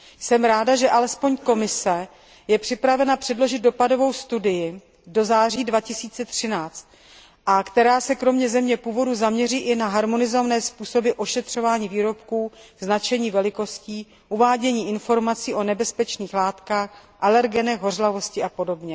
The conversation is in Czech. Jsem ráda, že alespoň Komise je připravena předložit dopadovou studii do září 2013, která se kromě země původu zaměří i na harmonizované způsoby ošetřování výrobků, značení velikostí, uvádění informací o nebezpečných látkách, alergenech, hořlavosti apod.